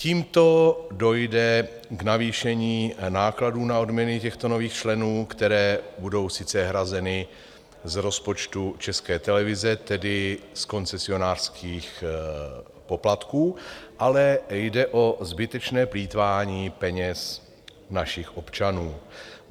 Tímto dojde k navýšení nákladů na odměny těchto nových členů, které budou sice hrazeny z rozpočtu České televize, tedy z koncesionářských poplatků, ale jde o zbytečné plýtvání peněz našich občanů.